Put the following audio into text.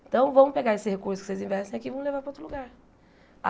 Então, vamos pegar esse recurso que vocês investem aqui e vamos levar para outro lugar.